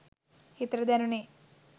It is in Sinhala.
හිතට දැනුනේ